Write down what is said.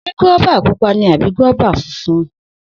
Se guaba pupa ni abi guaba funfun?